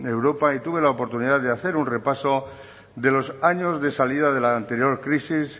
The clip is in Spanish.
europa y tuve la oportunidad de hacer un repaso de los años de salida de la anterior crisis